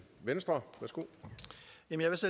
ændres